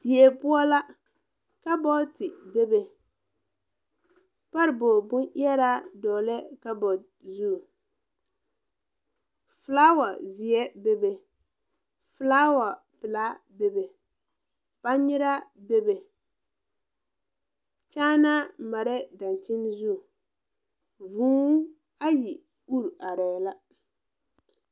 Die poɔ la kabɔɔte bebe parebog bon ɛɛraa dɔglɛɛ kabɔɔte zu flaawa zeɛ bebe flaawa pilaa bebe bangnyiraa bebe kyaanaa mareɛɛ dankyini zu vūū ayi uri areɛɛ la.